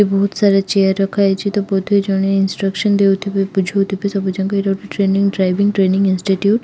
ଏଠି ବହୁତ ସାରା ଚେୟାର ରଖା ହେଇଛି ତ ବୋଧହୁଏ ଜଣେ ଇନଷ୍ଟ୍ରକ୍ସନ୍‌ ଦେଉଥିବେ ବୁଝାଉଥିବେ ସବୁ ଏଇଟା ଗୋଟେ ଡ୍ରାଇଭିଙ୍ଗ ଟ୍ରେନିଂ ଇନଷ୍ଟିଟ୍ୟୁଟ୍‌ ।